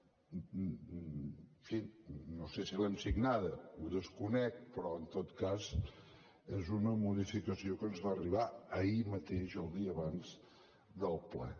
en fi no sé si l’hem signada ho desconec però en tot cas és una modificació que ens va arribar ahir mateix el dia abans del ple